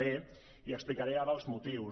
d i explicaré ara els motius